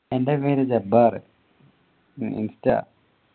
എൻ്റെ പേര് ജബ്ബാർ insta